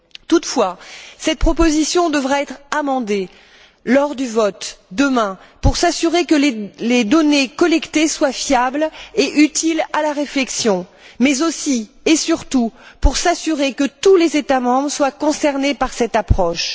Toutefois, cette proposition devra être amendée lors du vote, demain, pour s'assurer que les données collectées soient fiables et utiles à la réflexion, mais aussi et surtout, pour s'assurer que tous les États membres soient concernés par cette approche.